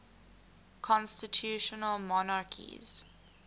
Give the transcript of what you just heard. constitutional monarchies